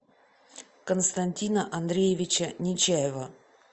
константина андреевича нечаева